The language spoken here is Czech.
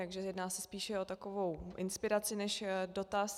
Takže jedná se spíše o takovou inspiraci než dotaz.